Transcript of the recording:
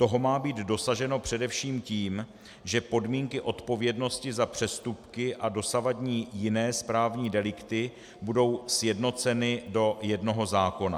Toho má být dosaženo především tím, že podmínky odpovědnosti za přestupky a dosavadní jiné správní delikty budou sjednoceny do jednoho zákona.